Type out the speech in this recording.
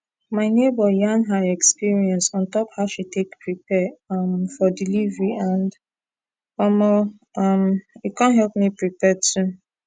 my neighbor yarn her experience on top how she take prepare um for delivery and omo um e con help me prepare too